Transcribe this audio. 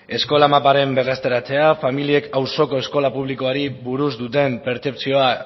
eskola maparen berreztaratzea familiek auzoko eskola publikoari buruz duten pertzepzioa